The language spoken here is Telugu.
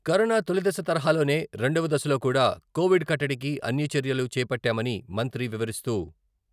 కరోనా తొలిదశ తరహాలోనే రెండవ దశలో కూడా కోవిడ్ కట్టడికి అన్ని చర్యలు చేపట్టామని మంత్రి వివరిస్తూ.